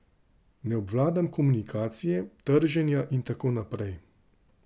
Ne obvladam komunikacije, trženja in tako naprej.